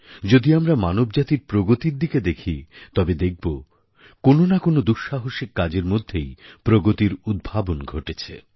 যদি আমরা মানবজাতির প্রগতির দিকে দেখি তবে দেখব কোনও না কোনও দুঃসাহসিক কাজের মধ্যেই প্রগতির উদ্ভাবন ঘটেছে